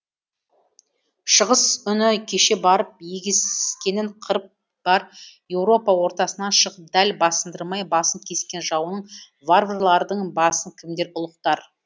шығыс үні кеше барып егескенін қырып бар европа ортасынан шығып дәл басындырмай басын кескен жауының варварлардың басын кімдер ұлықтар